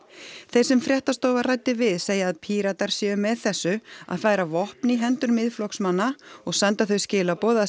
þeir sem fréttastofa ræddi við segja að Píratar séu með þessu að færa vopn í hendur Miðflokksmanna og senda þau skilaboð að